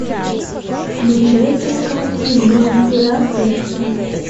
включай кинокартину мастера секса